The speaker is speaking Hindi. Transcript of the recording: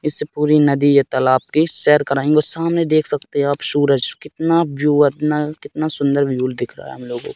इस पूरी नदी ये तालाब की सैर कराएंगे और सामने देख सकते हैं आप सूरज कितना व्यू इतना कितना सुंदर व्यू दिख रहा है हम लोगों को --